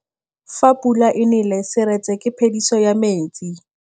Fa pula e nelê serêtsê ke phêdisô ya metsi.